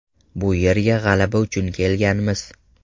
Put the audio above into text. Bu yerga g‘alaba uchun kelganmiz.